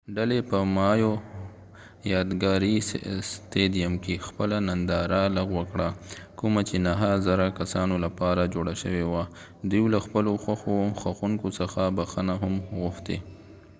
ډلې په مایو یادګاری ستیديم کې خپله ننداره لغوه کړه کومه چې نهه زره کسانو لپاره جوړه شوي وه دوي له خپلو خوښونکو څخه بخښنه هم غوښتی